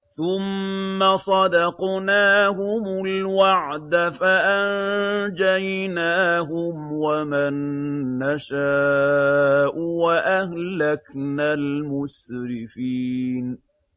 ثُمَّ صَدَقْنَاهُمُ الْوَعْدَ فَأَنجَيْنَاهُمْ وَمَن نَّشَاءُ وَأَهْلَكْنَا الْمُسْرِفِينَ